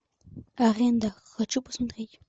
аренда хочу посмотреть